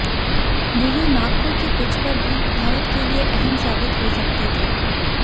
भुवी नागपुर की पिच पर भी भारत के लिए अहम साबित हो सकते थे